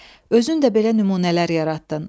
Özün də belə nümunələr yaratdın.